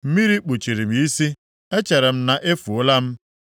Mmiri kpuchiri m isi, echere m na-efuola m.